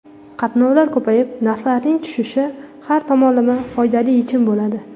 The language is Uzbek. Qatnovlar ko‘payib, narxlarning tushishi har tomonlama foydali yechim bo‘ladi.